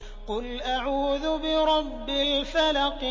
قُلْ أَعُوذُ بِرَبِّ الْفَلَقِ